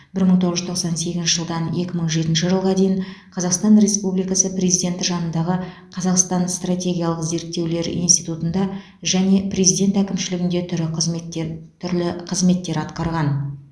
бір мың тоғыз жүз тоқсан сегізінші жылдан екі мың жетінші жылға дейін қазақстан республикасы президенті жанындағы қазақстан стратегиялық зерттеулер институтында және президент әкімшілігінде түрі қызметтер түрлі қызметтер атқарған